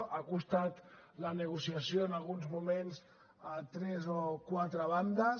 n’ha costat la negociació en alguns moments a tres o quatre bandes